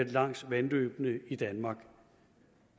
langs vandløbene i danmark